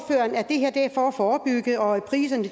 for at forebygge og at priserne